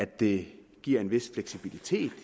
det giver en vis fleksibilitet